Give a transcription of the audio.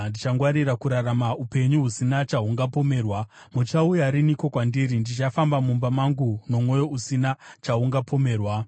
Ndichangwarira kurarama upenyu husina chahungapomerwa. Muchauya riniko kwandiri? Ndichafamba mumba mangu nomwoyo usina chaungapomerwa.